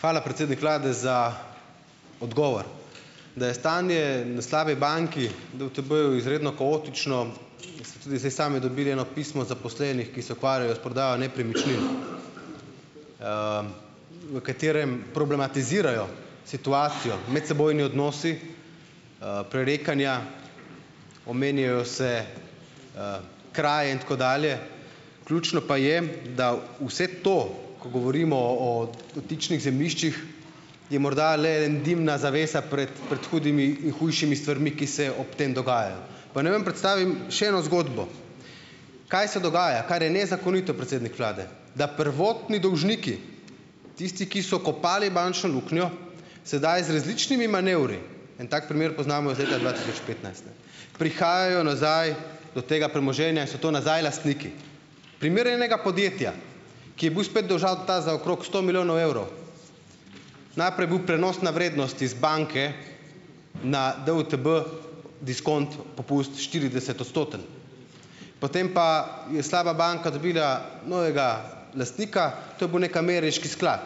Hvala, predsednik vlade, za odgovor. Da je stanje na slabi banki, DUTB-ju, izredno kaotično, ste tudi zdaj sami dobili eno pismo zaposlenih, ki se ukvarjajo s prodajo nepremičnin, v katerem problematizirajo situacijo, medsebojni odnosi, prerekanja, omenjajo se, kraje in tako dalje. Ključno pa je, da vse to, ko govorimo o dotičnih zemljiščih, je morda le ena dimna zavesa pred, pred hudimi, hujšimi stvarmi, ki se ob tem dogajajo. Pa naj vam predstavim še eno zgodbo. Kaj se dogaja, kar je nezakonito, predsednik vlade. Da prvotni dolžniki, tisti, ki so kopali bančno luknjo, sedaj z različnimi manevri, en tak primer poznamo iz leta dva tisoč petnajst, ne, prihajajo nazaj do tega premoženja in so to nazaj lastniki. Primer enega podjetja, ki je bil spet dolžan ta za okrog sto milijonov evrov, najprej je bila prenosna vrednost iz banke na DUTB diskont, popust štiridesetodstoten. Potem pa je slaba banka dobila novega lastnika, to je bil neki ameriški sklad.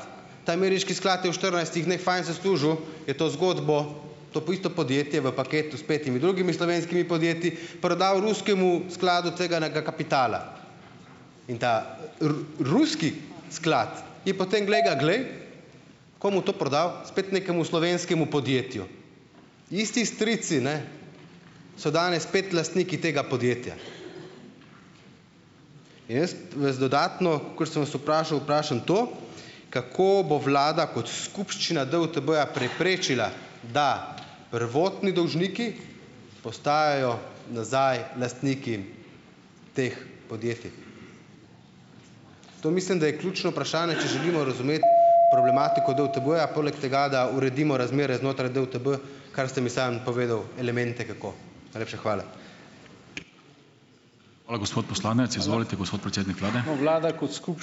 Ta ameriški sklad je v štirinajstih dneh fajn zaslužil, je to zgodbo to po isto podjetje v paketu s petimi drugimi slovenskimi podjetji prodal ruskemu skladu tveganega kapitala. In ta ruski sklad je potem, glej ga glej! Komu to prodal? Spet nekemu slovenskemu podjetju. Isti strici, ne, so danes spet lastniki tega podjetja. In jaz vas dodatno, kot sem vas vprašal, vprašam to, kako bo vlada kot skupščina DUTB-ja preprečila, da prvotni dolžniki postajajo nazaj lastniki teh podjetij. To mislim, da je ključno vprašanje, če želimo razumeti problematiko DUTB-ja, poleg tega, da uredimo razmere znotraj DUTB, kar ste mi sam povedal, elemente, kako. Najlepša hvala.